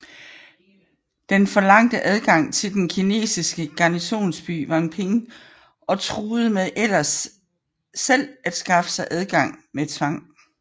Den forlangte adgang til den kinesiske garnisonsby Wanping og truede med ellers selv at skaffe sig adgang med tvang